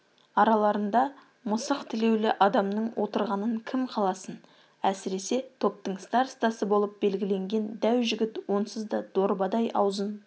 араларында мысық тілеулі адамның отырғанын кім қаласын әсіресе топтың старостасы болып белгіленген дәу жігіт онсыз да дорбадай аузын